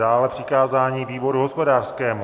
Dále přikázání výboru hospodářskému.